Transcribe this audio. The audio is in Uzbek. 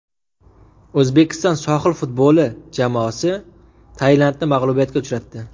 O‘zbekiston sohil futboli terma jamoasi Tailandni mag‘lubiyatga uchratdi.